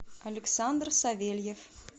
александр савельев